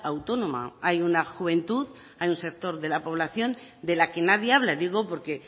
autónoma hay una juventud hay un sector de la población de la que nadie habla digo porque